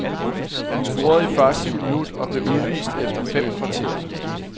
Han scorede i første minut og blev udvist efter fem kvarter.